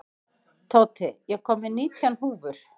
Tóti, ég kom með nítján húfur!